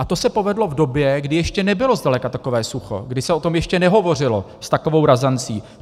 A to se povedlo v době, kdy ještě nebylo zdaleka takové sucho, kdy se o tom ještě nehovořilo s takovou razancí.